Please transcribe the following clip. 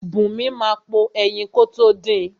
Bùnmi máa po ẹyin kótó din.